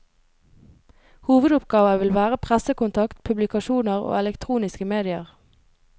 Hovedoppgaver vil være pressekontakt, publikasjoner og elektroniske medier.